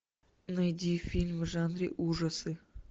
найди фильм в жанре ужасы